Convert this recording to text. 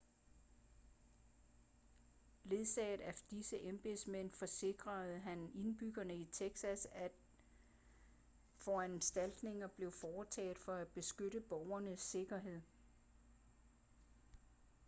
ledsaget af disse embedsmænd forsikrede han indbyggerne i texas om at foranstaltninger blev foretaget for at beskytte borgernes sikkerhed